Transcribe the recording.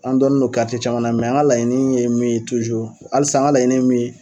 An dɔnni do caman na an ka laɲini ye min ye halisa an ka laɲini ye min ye